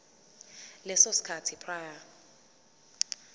leso sikhathi prior